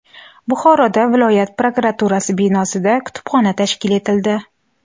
Buxoroda viloyat prokuraturasi binosida kutubxona tashkil etildi.